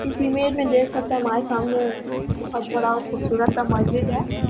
इस इमेज मे देख सकते हैं हमारे सामने बोहोत बड़ा खूबसूरत सा महजीद है।